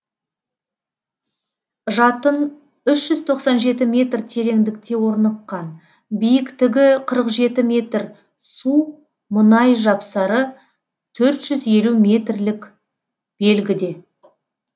жатын үшжүз тоқсан жеті метр тереңдікте орныққан биіктігі қырық жеті метр су мұнай жапсары төрт жүз елу метрлік белгіде